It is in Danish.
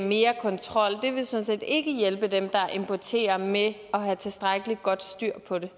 mere kontrol det vil sådan set ikke hjælpe dem der importerer med at have tilstrækkelig godt styr på det